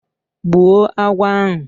Gbuo agwọ ahụ